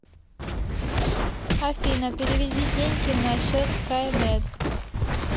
афина переведи деньги на счет скайнет